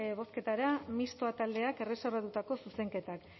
bozketara misto taldeak erreserbatutako zuzenketak